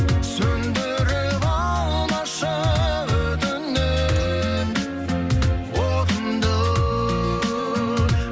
сөнідіріп алмашы өтінемін отымды